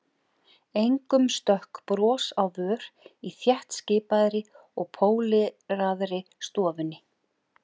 Engum stökk bros á vör í þéttskipaðri og póleraðri stofunni.